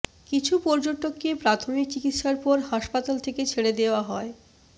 কিছু পর্যটককে প্রাথমিক চিকিৎসার পর হাসপাতাল থেকে ছেড়ে দেওয়া হয়